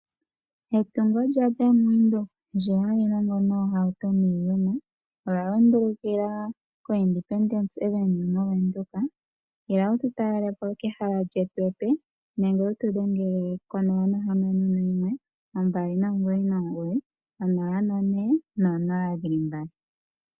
Etungo lyaBank Windhoek ndi ha li longo noohauto niiyemo olya lundulukila koIndependence Avenue mOvenduka. Ila wu tu talele po kehela lyetu epe nenge wu tu dhengele ko 061 2990400.